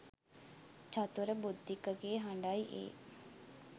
චතුර බුද්ධික ගේ හඬයි ඒ.